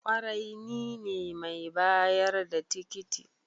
kwarai nine mai bayar da tikiti